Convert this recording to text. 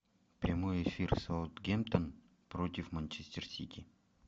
прямой эфир саутгемптон против манчестер сити